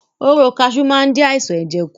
Hóró kaṣú máa ń dí àìsàn ẹ̀jẹ̀ kù.